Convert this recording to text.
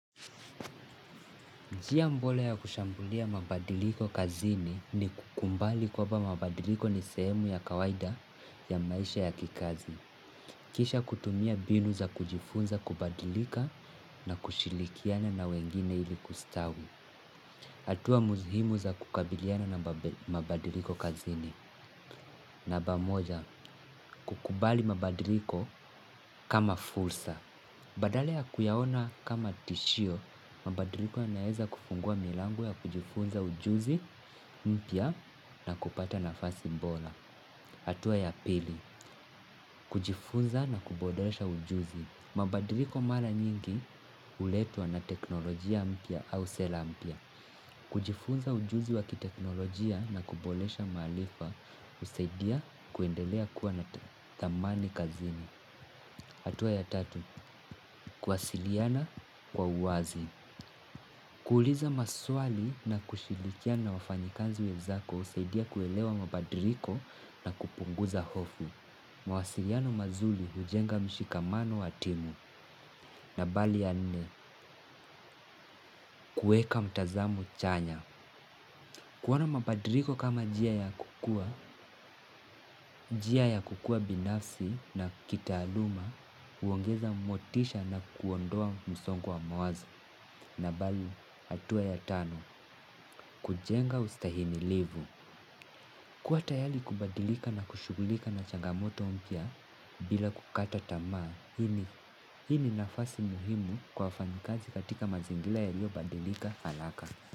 Njia bora ya kushambulia mabadiliko kazini ni kukubali kwamba mabadiliko ni sehemu ya kawaida ya maisha ya kikazi. Kisha kutumia mbinu za kujifunza kubadilika na kushirikiana na wengine ili kustawi. Hatua muhimu za kukabiliana na mabadiliko kazini. Namba moja, kukubali mabadiliko kama fursa. Badala ya kuyaona kama tishio, mabadiliko ya naweza kufungua milango ya kujifunza ujuzi, mpya na kupata na fasi bora. Hatua ya pili, kujifunza na kuboresha ujuzi. Mabadiliko mara nyingi huletwa na teknolojia mpya au sera mpya. Kujifunza ujuzi wakiteknolojia na kuboresha maarifa, husaidia kuendelea kuwa na thamani kazini. Hatua ya tatu, kuwasiliana kwa uwazi. Kuuliza maswali na kushiiikiana na wafanyakazi wenzako husaidia kuelewa mabadiliko na kupunguza hofu. Mawasiliano mazuri hujenga mshikamano wa timu na bali ya nne, kuweka mtazamo chanya. Kuona mabadiliko kama njia ya kukuwa, njia ya kukuwa binafsi na kitaaluma, uongeza motisha na kuondoa msongo wa mawazo. Na balu, hatua ya tano, kujenga ustahimi livu kuwa tayari kubadilika na kushugulika na changamoto mpya bila kukata tamaa. Hii ni nafasi muhimu kwa fanyakazi katika mazingira ya lio badilika haraka.